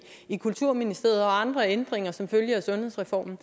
i kulturministeriet og andre ændringer som følge af sundhedsreformen